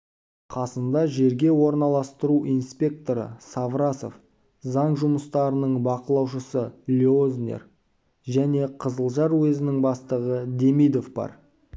қасында жерге орналастыру инспекторы саврасов заң жұмыстарының бақылаушысы леознер және қызылжар уезінің бастығы демидов бар